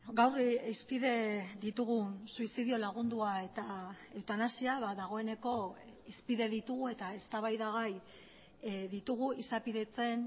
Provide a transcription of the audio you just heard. gaur hizpide ditugun suizidio lagundua eta eutanasia ba dagoeneko hizpide ditugu eta eztabaida gai ditugu izapidetzen